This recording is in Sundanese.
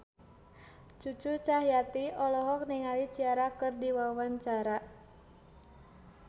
Cucu Cahyati olohok ningali Ciara keur diwawancara